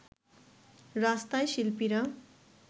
রাস্তায় শিল্পীরা